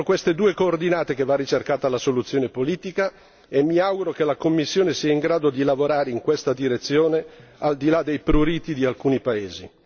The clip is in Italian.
Penso che sia entro queste due coordinate che va ricercata la soluzione politica e mi auguro che la Commissione sia in grado di lavorare in questa direzione al di là dei pruriti di alcuni paesi.